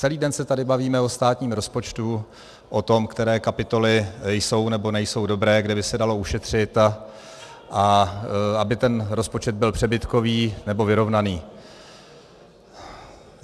Celý den se tady bavíme o státním rozpočtu, o tom, které kapitoly jsou nebo nejsou dobré, kde by se dalo ušetřit, a aby ten rozpočet byl přebytkový nebo vyrovnaný.